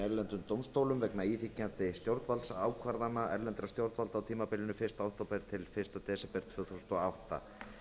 erlendum dómstólum vegna íþyngjandi stjórnvaldsákvarðana erlendra stjórnvalda á tímabilinu fyrsta október til fyrsta desember tvö þúsund og átta